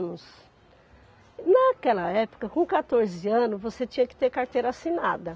Naquela época, com quatorze anos, você tinha que ter carteira assinada.